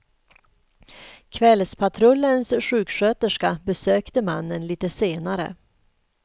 Kvällspatrullens sjuksköterska besökte mannen lite senare.